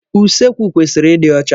Usekwu kwesịrị ịdị ọcha.